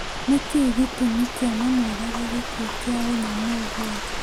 Nĩkĩĩ gĩtumi kĩa mamũrage gĩkuũ kĩa ũnyamũ ũguo